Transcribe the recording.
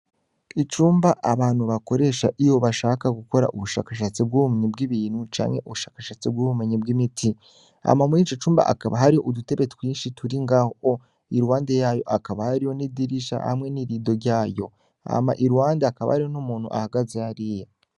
Icumba abantu bakoresha iyo bashaka gukora ubushakashatsi bw'umnyi bw'ibintu canke ubushakashatsi bw'ubumenyi bw' imiti, ama muri ico cumba akaba hariho udutebe twinshi turi ngaho iruwande yayo akaba hariho n'idirisha hamwe n'irido ryayo ama i luwande akaba ario n'umuntu ahagaze ariya.